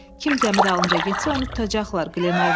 Kim gəmidən dalınca getsə, onu tutacaqlar.